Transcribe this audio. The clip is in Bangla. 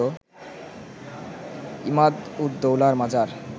ইমাদ-উদ-দৌলার মাজার